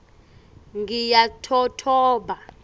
ngiyatotoba